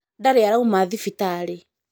Ndarī arauma thibitarī